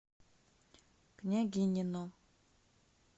княгинино